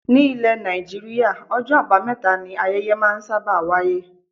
Ní ile Nàìjíríà, ọjọ́ abameta ni ayẹyẹ máa ń sábà wáyé.